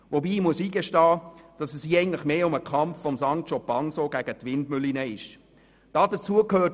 Allerdings muss ich zugeben, dass es hier eher um den Kampf des Sancho Panza gegen die Windmühlen geht.